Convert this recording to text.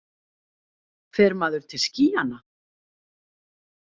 Fer maður til skýjanna?